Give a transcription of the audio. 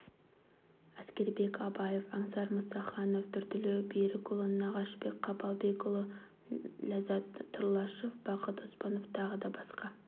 әскербек абаев аңсар мұсаханов нұртілеу бәкірұлы нағашыбек қапалбекұлы ләззат тұрлашев бақыт оспанов тағы да басқа